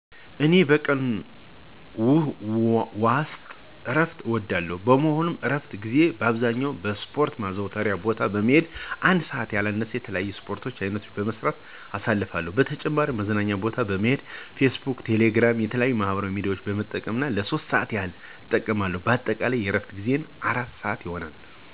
እኔ በቀን ዎስጥ እረፍት እወስዳለሁ። በመሆኑም በእረፍት ጊዜየ በአብዛኛው በስፖረት ማዘውተሪያ ቦታ በመሄድ ለአንድ ሰአት ያህል የተለያዩ የስፖርት አይነቶችን በመስራት አሳልፋለሁ። በተጨማሪም መዝናኛ ቦታ በመሄድ ፌስቡክ፣ ቴሌግራም እና የተለያዩ ማህበራዊ ሚዲያዎችን በመጠቀም ለሶስት ሰአት ያህል እጠቀማለሁ። በአጠቃላይ የእረፍት ጊዜየ አራት ሰአት ይሆናል።